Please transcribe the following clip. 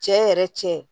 Cɛ yɛrɛ cɛ